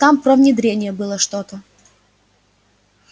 там про внедрение было что-то